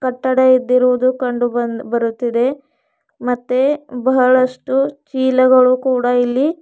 ಕಟ್ಟಡ ಇದ್ದಿರುವುದು ಕಂಡು ಬಂದ್ ಬರುತ್ತಿದೆ ಮತ್ತೆ ಬಹಳಷ್ಟು ಚೀಲಗಳು ಕೂಡ ಇಲ್ಲಿ--